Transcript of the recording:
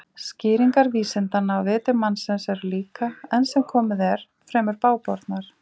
Skýringar vísindanna á viti mannsins eru líka, enn sem komið er, fremur bágbornar.